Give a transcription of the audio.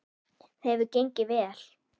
Það hefur gengið vel.